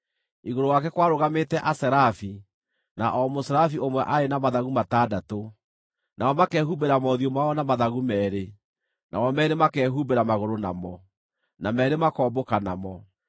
Igũrũ wake kwarũgamĩte aserafi, na o mũserafi ũmwe aarĩ na mathagu matandatũ: nao makehumbĩra mothiũ mao na mathagu meerĩ, namo meerĩ makehumbĩra magũrũ namo, na meerĩ makombũka namo.